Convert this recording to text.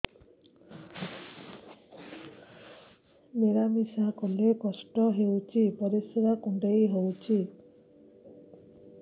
ମିଳା ମିଶା କଲେ କଷ୍ଟ ହେଉଚି ପରିସ୍ରା କୁଣ୍ଡେଇ ହଉଚି